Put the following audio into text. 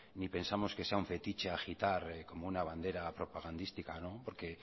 ni pensamos que sea fetiche agitar como una bandera propagandística porque